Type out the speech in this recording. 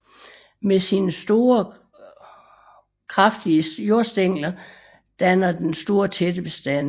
Med sine kraftige jordstængler danner den store tætte bestande